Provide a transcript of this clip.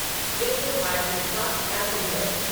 Vishwabharati fast passenger